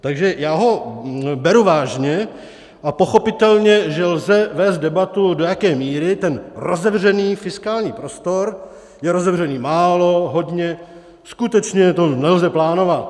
Takže já ho beru vážně, A pochopitelně, že lze vést debatu, do jaké míry ten rozevřený fiskální prostor je rozevřený málo, hodně, skutečně to nelze plánovat.